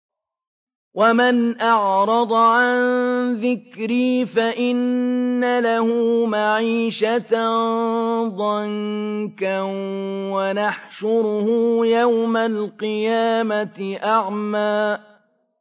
وَمَنْ أَعْرَضَ عَن ذِكْرِي فَإِنَّ لَهُ مَعِيشَةً ضَنكًا وَنَحْشُرُهُ يَوْمَ الْقِيَامَةِ أَعْمَىٰ